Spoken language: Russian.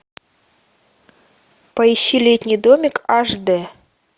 поищи летний домик аш д